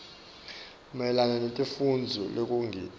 mayelana naletimfuneko lekungito